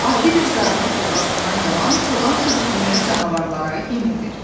Adi bir zarafatla başlanan yalan çoban sürüsünü canavarlara yem edir.